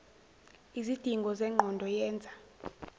lzidingo zengqondo yenza